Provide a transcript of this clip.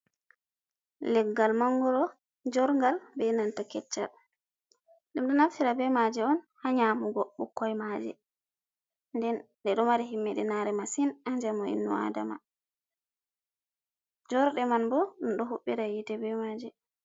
Leggal mangoro jorgal, be nanta keccal, ɗum ɗo naftira be maaje on haa nyamugo ɓikkoi maaje, nden ɗe ɗo mari himmiɗi naare masin Haa njamu inno adama, jorɗe man ɓo ɗum ɗo huɓɓira yiite be maaje.